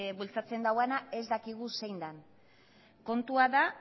bultzan duena ez dakigu zein den kontua da